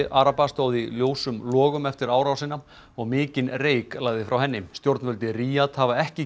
araba stóð í ljósum logum eftir árásina og mikinn reyk lagði frá henni stjórnvöld í Ríad hafa ekki